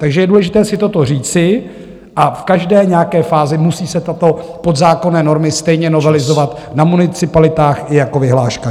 Takže je důležité si toto říci a v každé nějaké fázi musí se tyto podzákonné normy stejně novelizovat na municipalitách i jako vyhláška.